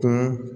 Ka